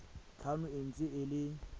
tlhano e ntse e le